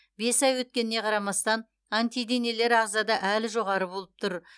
бес ай өткеніне қарамастан антиденелер ағзада әлі жоғары болып тұр